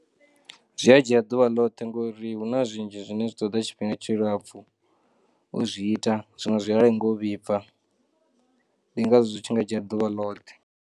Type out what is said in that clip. Zwi a dzhia ḓuvha ḽoṱhe ngori huna zwinzhi zwine zwi ṱoḓa tshifhinga tshi lapfu u zwi ita zwiṅwe zwi a i ngaho u vhibva ndi ngazwo zwi tshi nga dzhia ḓuvha ḽoṱhe.